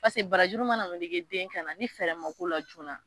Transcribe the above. paseke barajuru nana meleke den kanna , ni fɛrɛɛrɛ ma k'o la joona